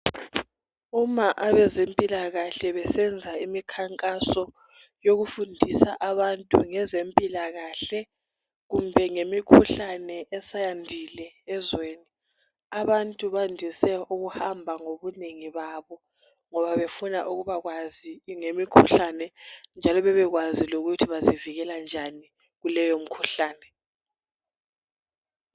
Uma abezempilakahle besenza imikhankaso yokufundisa abantu ngezempilakahle kumbe ngemikhuhlane esiyandile ezweni. Abantu bandise ukuhamba ngobunengi babo ngoba befuna ukubakwazi ngemikhuhlane njalo babekwazi ukuthi bazivikela njani kuleyomikhuhlane.